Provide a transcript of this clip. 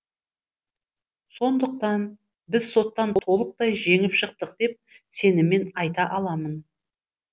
сондықтан біз соттан толықтай жеңіп шықтық деп сеніммен айта аламын